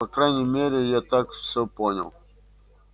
по крайней мере я так всё понял